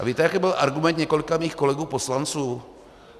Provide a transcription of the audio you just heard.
A víte, jaký byl argument několika mých kolegů poslanců?